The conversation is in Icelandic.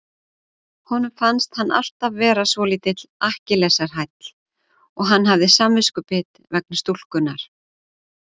Honum fannst hann alltaf vera svolítill Akkilesarhæll og hann hafði samviskubit vegna stúlkunnar.